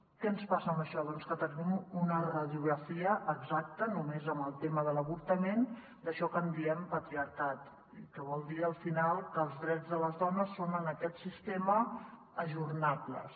què ens passa amb això doncs que tenim una ra·diografia exacta només amb el tema de l’avortament d’això que en diem patriar·cat i que vol dir al final que els drets de les dones són en aquest sistema ajorna·bles